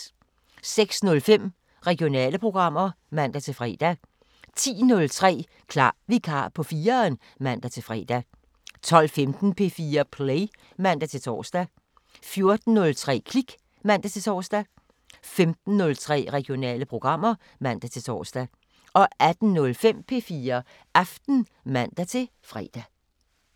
06:05: Regionale programmer (man-fre) 10:03: Klar vikar på 4'eren (man-fre) 12:15: P4 Play (man-tor) 14:03: Klik (man-tor) 15:03: Regionale programmer (man-tor) 18:05: P4 Aften (man-fre)